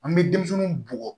An bɛ denmisɛnninw bugɔ